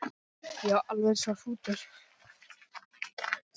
Já, alveg eins og hrútur.